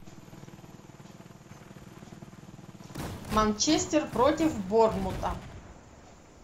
манчестер против борнмута